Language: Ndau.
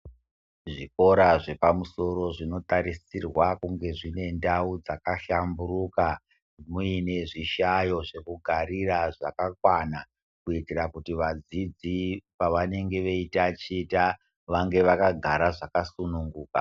Zvikora zvepamusoro zvinotarisirwa kuva zviinendau yakahlamburika, muine zvihlayo zvekugarira zvakakwana kuitira kuti vadzidzi pevanenge veitaticha vange vakagara zvakasununguka.